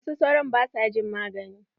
Wasu sauron ba sua jin magani.